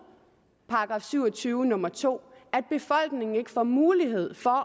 § syv og tyve nummer to at befolkningen ikke får mulighed for